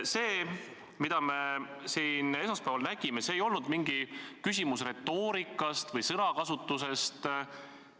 See, mida me siin esmaspäeval nägime – küsimus ei olnud enam retoorikas või sõnakasutuses.